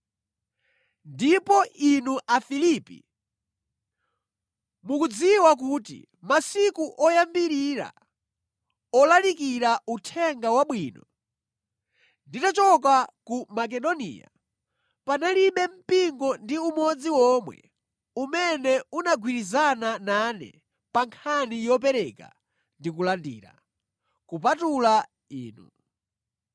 Ndipo inu Afilipi mukudziwa kuti masiku oyambirira olalikira Uthenga Wabwino, nditachoka ku Makedoniya, panalibe mpingo ndi umodzi omwe umene unagwirizana nane pa nkhani yopereka ndi kulandira, kupatula inu.